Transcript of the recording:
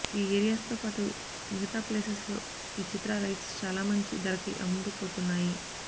ఈ ఏరియాస్ తో పాటు మిగితా ప్లేసెస్ లో ఈ చిత్ర రైట్స్ చాలా మంచి ధర కి అమ్ముడుపోతున్నాయి